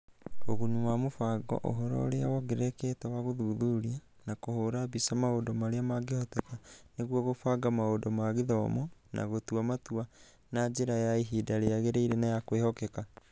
Ũguni wa mũbango ũhoro ũria wongererekete wa gũthuthuria na kũhũũra mbica maũndũ marĩa mangĩhoteka nĩguo kũbanga maũndũ ma gĩthomo na gũtua matua na njĩra ya ihinda rĩagĩrĩire na ya kwĩhokeka.